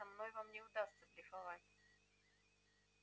со мной вам не удастся блефовать